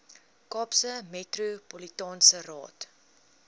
kaapse metropolitaanse raad